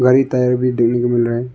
कई टायर भी देखने को मिल रहा है।